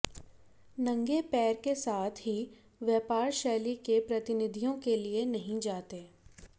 नंगे पैर के साथ ही व्यापार शैली के प्रतिनिधियों के लिए नहीं जाते